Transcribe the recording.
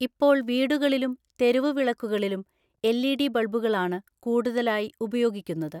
ഇപ്പോൾ വീടുകളിലും തെരുവുവിളക്കുകളിലും എൽഇഡി ബൾബുകളാണ് കൂടുതലായി ഉപയോഗിക്കുന്നത്.